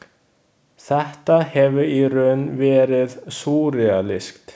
Þetta hefur í raun verið„ súrrealískt“.